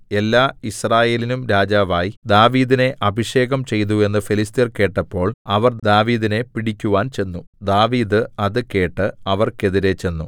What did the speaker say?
എല്ലാ യിസ്രായേലിനും രാജാവായി ദാവീദിനെ അഭിഷേകം ചെയ്തു എന്ന് ഫെലിസ്ത്യർ കേട്ടപ്പോൾ അവർ ദാവീദിനെ പിടിക്കുവാൻ ചെന്നു ദാവീദ് അത് കേട്ടു അവർക്കെതിരെ ചെന്നു